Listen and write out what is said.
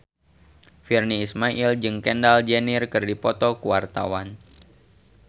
Virnie Ismail jeung Kendall Jenner keur dipoto ku wartawan